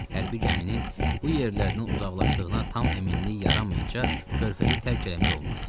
Hərbi gəminin bu yerlərdən uzaqlaşdığına tam əminlik yaranmayınca körfəzi tərk eləmək olmaz.